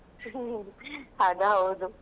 ಹ ಹ ಅದು ಹೌದು.